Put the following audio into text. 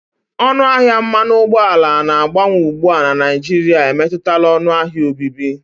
Ọnụ ahịa mmanụ ụgbọala na-agbanwe ugbu a na Naịjirịa emetụtala ọnụ ahịa obibi.